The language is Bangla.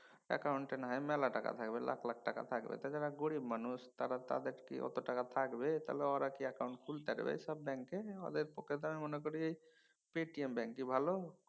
অ্যাকাউন্ট এ নাহয় মেলা টাকা থাকবে লাখ লাখ টাকা থাকবে। তা যারা গরীব মানুছ তারা তাদের কি অত টাকা থাকবে? তাহলে অ্যাকাউন্ট খুলতারবে সব ব্যাঙ্কে। ওদের পক্ষে ত আমি মনে করি পেটিএম ব্যাঙ্কই ভালো।